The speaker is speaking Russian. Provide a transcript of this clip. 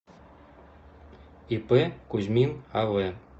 ип кузьмин ав